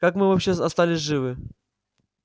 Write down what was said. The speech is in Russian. как мы вообще остались живы